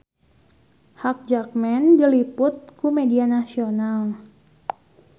Hugh Jackman diliput ku media nasional